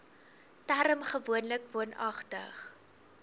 term gewoonlik woonagtig